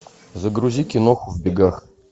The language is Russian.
загрузи киноху в бегах